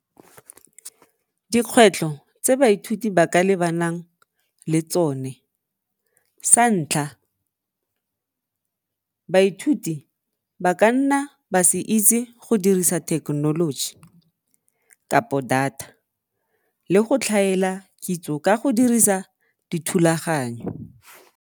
Dikgwetlho tse baithuti ba ka lebanang le tsone, sa ntlha, baithuti ba ka nna ba se itse go dirisa thekenoloji data le go tlhaela kitso ka go dirisa dithulaganyo.